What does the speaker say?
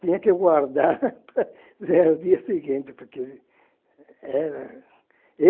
Tinha que guardar para os dias seguintes, porque era